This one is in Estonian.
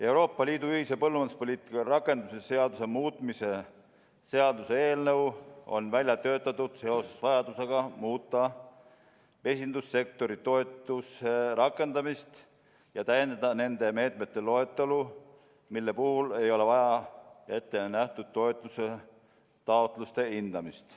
Euroopa Liidu ühise põllumajanduspoliitika rakendamise seaduse muutmise seaduse eelnõu on välja töötatud seoses vajadusega muuta mesindussektori toetuse rakendamist ja täiendada nende meetmete loetelu, mille puhul ei ole ette nähtud toetuse taotluste hindamist.